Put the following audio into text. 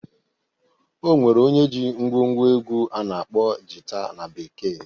O nwere onye jii ngwo ngwo egwu a na-akpọ Jita na bekee.